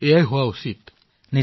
হয় মহোদয় নিশ্চয়